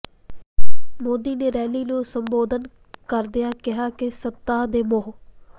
ਮੋਦੀ ਨੇ ਰੈਲੀ ਨੂੰ ਸੰਬੋਧਨ ਕਰਦਿਆਂ ਕਿਹਾ ਕਿ ਸੱਤਾ ਦੇ ਮੋਹ